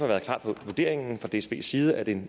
været klart for vurderingen fra dsbs side at en